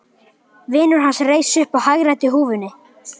Vinur hans reis upp og hagræddi húfunni.